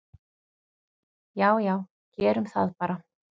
"""Já já, gerum það bara."""